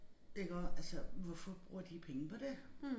Iggå altså hvorfor bruger de penge på det